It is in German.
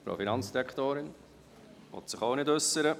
Die Frau Finanzdirektorin will sich auch nicht äussern.